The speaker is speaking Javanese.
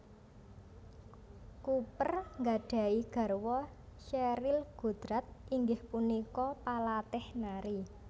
Cooper gadhahi garwa Sheryl Goddard inggih punika palatih nari